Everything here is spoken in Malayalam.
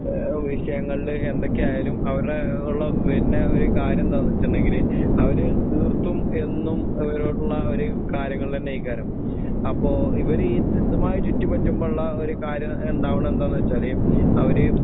ഏഹ് വിഷയങ്ങളില് എന്തൊക്കെയായാലും അവരടെ ഒള്ള വര്ണ ഒരു കാര്യെന്താന്നെച്ച്ണ്ടെങ്കില് അവര് തീർത്തും എന്നും അവരോടൊള്ള ഒരു കാര്യങ്ങളെന്നെ കരം. അപ്പൊ ഇവരീ ത് ഇതുമായി ചുറ്റിപ്പറ്റുമ്പള്ള ഒരു കാര്യം ഇണ്ടാവണ എന്താന്നെച്ചാല് അവര്